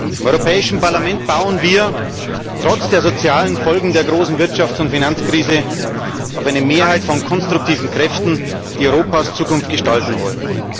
Im Europäischen Parlament bauen wir trotz der sozialen Folgen der großen Wirtschafts und Finanzkrise auf eine Mehrheit von konstruktiven Kräften, die Europas Zukunft gestalten wollen.